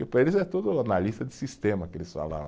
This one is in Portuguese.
Para eles é tudo analista de sistema, que eles falavam.